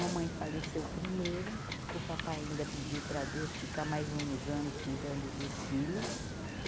Mamãe faleceu primeiro, o papai ainda pediu para Deus ficar mais uns anos cuidando dos filhos.